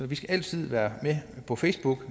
vi skal altid være på facebook